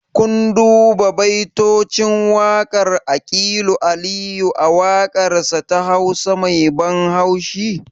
Kun duba baitocin waƙar aƙilu aliyu a waƙarsa ta hausa me ban haushi?